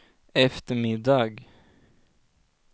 eftermiddag